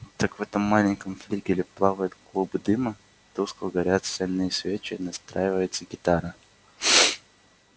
так в этом маленьком флигеле плавает клубы дыма тускло горят сальные свечи настраивается гитара